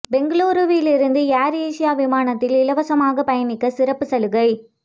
பெங்களூருவில் இருந்து AirAsia விமானத்தில் இலவசமாக பயணிக்க சிறப்பு சலுகை